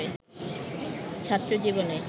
ছাত্রজীবনে